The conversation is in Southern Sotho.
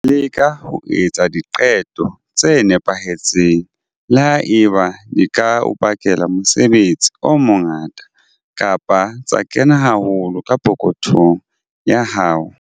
Leka ho etsa diqeto tse nepahetseng, le ha eba di ka o bakela mosebetsi o mongata kapa tsa kena haholo ka pokothong ya hao.